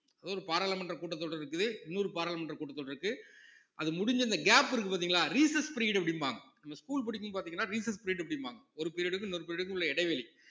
அது ஒரு பாராளுமன்ற கூட்டத்தொடர் இருக்குது இன்னொரு பாராளுமன்ற கூட்டத்தொடர் இருக்கு அது முடிஞ்சு இந்த gap இருக்கு பார்த்தீங்களா recess period அப்படிம்பாங்க நம்ம school படிக்கும்போது பார்த்தீங்கன்னா recess period அப்படிம்பாங்க ஒரு period க்கும் இன்னொரு period க்கும் உள்ள இடைவெளி